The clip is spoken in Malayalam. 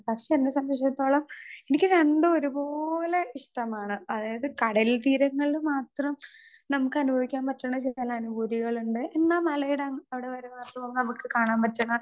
സ്പീക്കർ 2 പക്ഷെ എന്നെ സംബന്ധിച്ചിടത്തോളം എനിക്ക് രണ്ടും ഒരു പോലെ ഇഷ്ടമാണ് അതായത് കടൽ തീരങ്ങളിൽ മാത്രം നമുക്ക് അനുഭവിക്കാൻ പറ്റുന്ന ചില അനുഭൂതികളുണ്ട് എന്നാ മലയടങ്ങ് അവിടെ നമുക്ക് കാണാൻ പറ്റ്ണ.